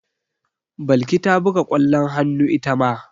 Balki ta buga ƙwallon hannu ita ma.